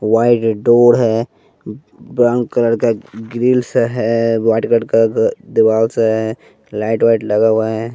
White door हैं brown colour का grills हैं व्हाइट कलर का दिवाल सा है लाइट वाइट लगा हुआ हैं।